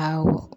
Awɔ